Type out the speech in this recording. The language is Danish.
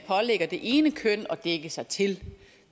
pålægger det ene køn at dække sig til